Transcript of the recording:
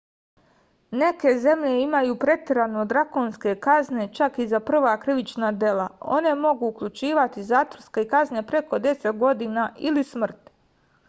neke zemlje imaju preterano drakonske kazne čak i za prva krivična dela one mogu uključivati zatvorske kazne preko 10 godina ili smrt